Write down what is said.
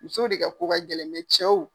Muso de ka ko ka gɛlɛn cɛw